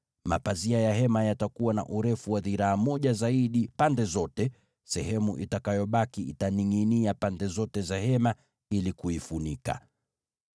Mapazia ya hema yatakuwa na urefu wa dhiraa moja zaidi pande zote, sehemu itakayobaki itaningʼinia pande zote za Hema ili kuifunika.